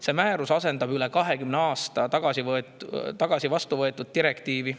See määrus asendab üle 20 aasta tagasi vastu võetud direktiivi.